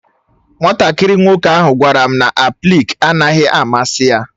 Nwatakịrị nwoke ahụ gwara m na aplịk naghị amasị ya.